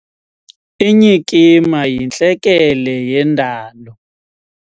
Inyikima yintlekele yendalo.